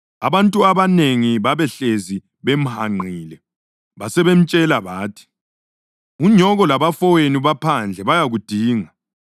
Abantu abanengi babehlezi bemhanqile, basebemtshela bathi, “Unyoko labafowenu baphandle bayakudinga.”